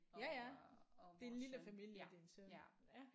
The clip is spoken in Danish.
Ja ja din lille familie din søn ja